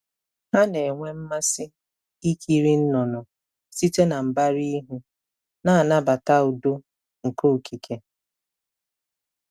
Ha na-enwe mmasị ikiri nnụnụ site na mbara ihu, na-anabata udo nke okike.